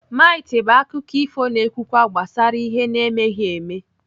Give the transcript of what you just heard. Mit bụ akụkọ ifo na-ekwukwa gbasara ihe na-emeghi eme.